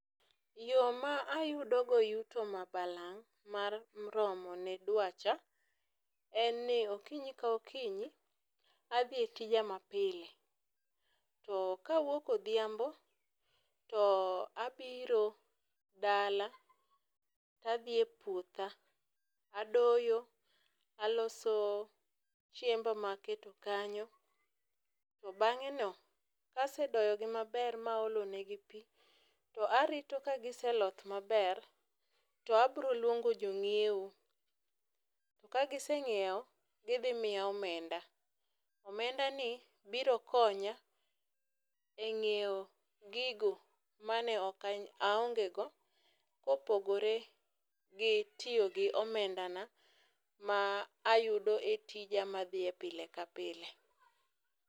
Yoo maa ayuto go yuto ma balang' mar romo ne dwacha en ni okinyi ka okinyi adhie tija ma pile. to kaawuok odhiambo too abiro dala tadhiye puotha tadoyo taloso chiemba maketo kanyo tobang'eno, kasedoyogi maber maolonegi pii, toarito kagiseloth maber to abiro luongo jo ng'ieo. Kagiseng'ieo gidhimiya omenda, omedani biro konya eng'ieo gigo maneokanya aongegoo kopogoree gi tiyo gi omendana maa ayudo etija maadhiye pile ka pile.